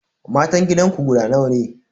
Matan gidanku guda nawa ne?